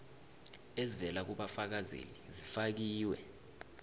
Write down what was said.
ezivela kubafakazeli zifakiwe